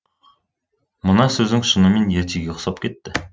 мына сөзің шынымен ертегіге ұқсап кетті